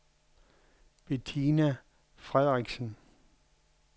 Betina Frederiksen